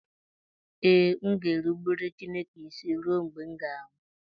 Ee, m ga-erubere Chineke isi ruo mgbe m ga-anwụ